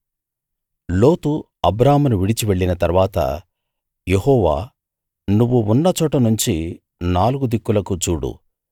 లోతు అబ్రామును విడిచి వెళ్ళిన తరువాత యెహోవా నువ్వు ఉన్నచోటనుంచి నాలుగు దిక్కులకూ చూడు